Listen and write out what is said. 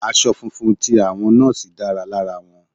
Aṣọ funfun ti àwọn Nọ́ọ́sì dára lára wọn.